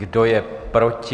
Kdo je proti?